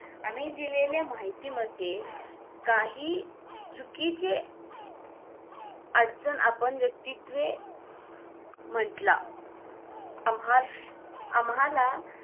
आम्ही दिलेल्या माहितीमध्ये काही चुकीचे अडचण आपण व्यक्तीतले म्हंटला आम्हास आम्हाला